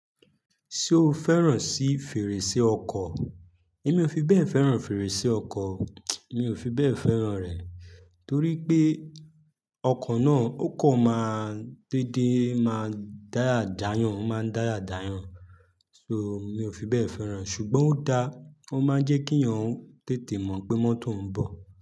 Ṣé o fẹ́ràn sí fèrèsé ọkọ̀? Èmi ò fi bẹ́ẹ̀ fẹ́ràn fèrèsé ọkọ̀. Mi ò fi bẹ́ẹ̀ fẹ́ràn rẹ̀. Torí pé ọkọ̀ náà ó kan máa n déedé máa dáya já èèyàn, o máa ń dáya já èèyàn. So mi ò fi bẹ́ẹ̀ fẹ́ràn e. Ṣùgbọ́n ó da, ó máa ń jẹ́ kí eeyàn tètè mọ̀ pé mọ́tò ń bọ̀.